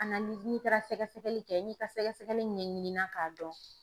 n'i taara sɛgɛsɛgɛli kɛ n'i ka sɛgɛsɛgɛli ɲɛɲinini k'a dɔn